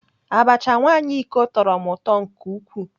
Abacha nwaanyị iko tọrọ m ụtọ nke ukwuu.